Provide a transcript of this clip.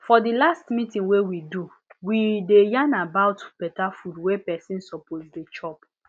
for the last meeting wey we do we dey yarn about better food wey person suppose dey chop